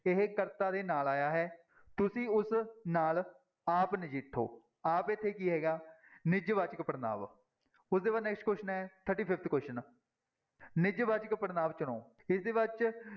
ਇਹ ਕਰਤਾ ਦੇ ਨਾਲ ਆਇਆ ਹੈ ਤੁਸੀਂ ਉਸ ਨਾਲ ਆਪ ਨਜਿੱਠੋ ਆਪ ਇੱਥੇ ਕੀ ਹੈਗਾ ਨਿੱਜਵਾਚਕ ਪੜ੍ਹਨਾਂਵ ਉਹ ਤੋਂ ਬਾਅਦ next question ਹੈ thirty-fifth question ਨਿੱਜਵਾਚਕ ਪੜ੍ਹਨਾਂਵ ਚੁਣੋ, ਨਿੱਜਵਾਚਕ